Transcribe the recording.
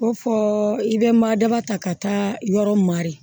Ko fɔ i bɛ madaba ta ka taa yɔrɔ marɛ